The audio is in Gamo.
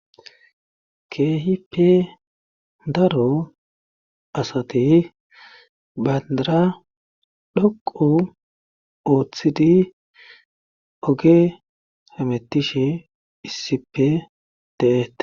Keehippe daro asati baandara dhoqu ooththidi oge hametishe issippe teete.